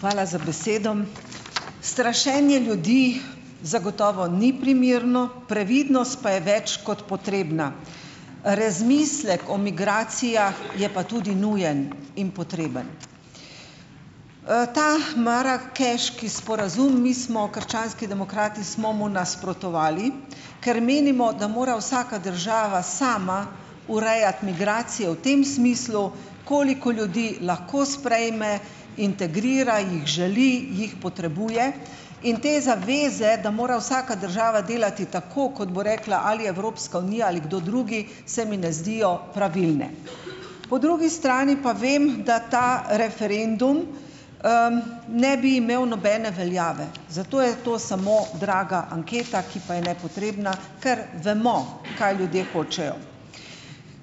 Hvala za besedo . Strašenje ljudi zagotovo ni primerno, previdnost pa je več kot potrebna. Razmislek o migracijah je pa tudi nujen in potreben . Ta marakeški sporazum, mi smo krščanski demokrati, smo mu nasprotovali, ker menimo, da mora vsaka država sama urejati migracije v tem smislu, koliko ljudi lahko sprejme, integrira, jih želi, jih potrebuje. In te zaveze, da mora vsaka država delati tako, kot bo rekla ali Evropska unija ali kdo drugi, se mi ne zdijo pravilne. Po drugi strani pa vem, da ta referendum, ne bi imel nobene veljave, zato je to samo draga anketa, ki pa je nepotrebna , kar vemo, kaj ljudje hočejo .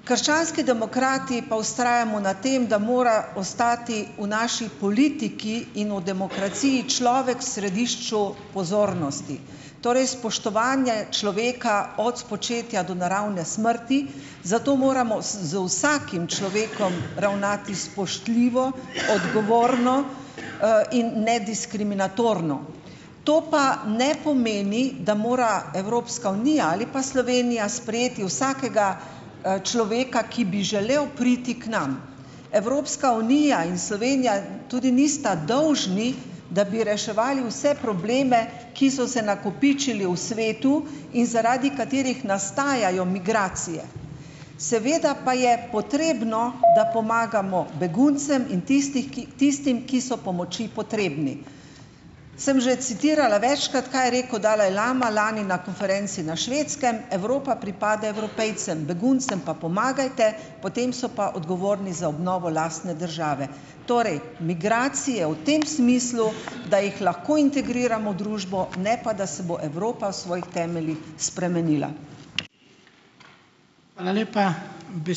Krščanski demokrati pa vztrajamo na tem, da mora ostati v naši politiki in v demokraciji človek središču pozornosti . Torej spoštovanje človeka od spočetja do naravne smrti, zato moramo, z vsakim človekom ravnati spoštljivo, odgovorno, in ne diskriminatorno. To pa ne pomeni, da mora Evropska unija ali pa Slovenija sprejeti vsakega, človeka, ki bi želel priti k nam. Evropska unija in Slovenija tudi nista dolžni, da bi reševali vse probleme, ki so se nakopičili v svetu in zaradi katerih nastajajo migracije. Seveda pa je potrebno da pomagamo beguncem in tistih, ki tistim, ki so pomoči potrebni. Sem že citirala večkrat, kaj je rekel dalajlama lani na konferenci na Švedskem: Evropa pripada Evropejcem , beguncem pa pomagajte, potem so pa odgovorni za obnovo lastne države. Torej migracije v tem smislu, da jih lahko integriramo družbo, ne pa da se bo Evropa v svojih temeljih spremenila.